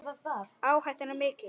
Áhættan er mikil.